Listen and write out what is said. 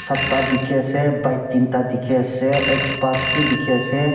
satta dikhiase bike teenta dikhiase xbas bi dikhiase.